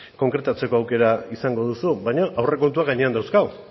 konkretatzeko aukera izango duzu baino aurrekontuak gainean dauzkagu